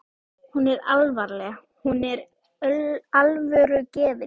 Hún er alvarleg- hún er alvörugefin.